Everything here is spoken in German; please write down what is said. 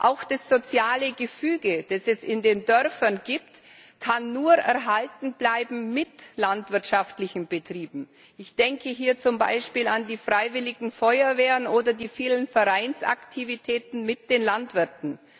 Auch das soziale Gefüge, das es in den Dörfern gibt, kann nur mit landwirtschaftlichen Betrieben erhalten bleiben. Ich denke hier zum Beispiel an die freiwilligen Feuerwehren oder die vielen Vereinsaktivitäten mit den Landwirten.